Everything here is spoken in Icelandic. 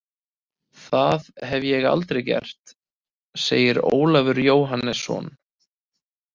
Það hef ég aldrei gert, segir Ólafur Jóhannesson.